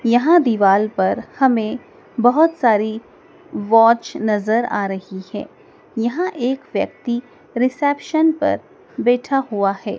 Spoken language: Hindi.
यहां दीवाल पर हमें बहुत सारी वॉच नजर आ रही है यहां एक व्यक्ति रिसेप्शन पर बैठा हुआ है।